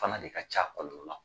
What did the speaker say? Fana de ka ca kɔlɔlɔ la.